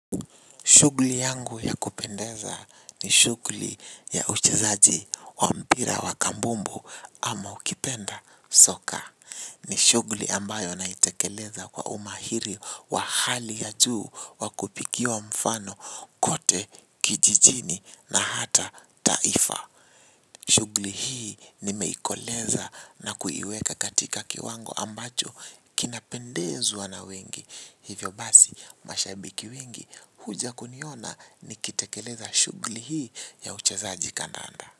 Shughuli yangu ya kupendeza ni shughuli ya uchezaji wa mpira wa kambumbu ama ukipenda soka. Ni shughuli ambayo naitekeleza kwa umahiri wa hali ya juu wa kupigiwa mfano kote kijijini na hata taifa. Shughuli hii nimeikoleza na kuiweka katika kiwango ambacho kinapendezwa na wengi. Hivyo basi, mashabiki wengi huja kuniona nikitekeleza shughuli hii ya uchezaji kandanda.